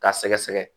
K'a sɛgɛsɛgɛ